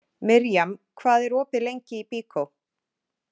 Mirjam, hvað er opið lengi í Byko?